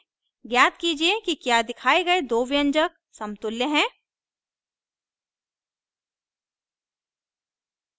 ज्ञात कीजिए कि क्या दिखाए गए दो व्यंजक समतुल्य हैं